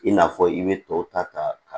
I n'a fɔ i bɛ tɔw ta ka